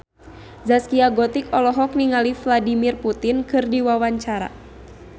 Zaskia Gotik olohok ningali Vladimir Putin keur diwawancara